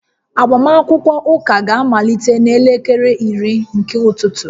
Agbamakwụkwọ ụka ga-amalite n'elekere iri nke ụtụtụ